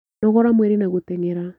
Nogora mwĩrĩ na gũteng'era